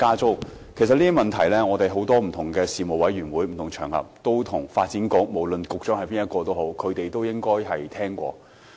凡此種種的問題，我們曾在不同的事務委員會會議及場合上向發展局局長反映，不論是誰擔任局長。